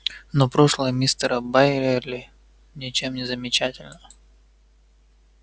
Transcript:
но прошлое мистера байерли ничем не замечательно